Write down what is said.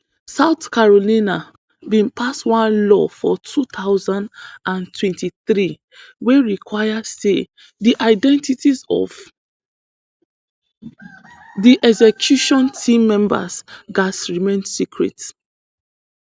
south carolina bin pass one law for two thousand and twenty-three wey require say di identities of di execution team members gatz remain secret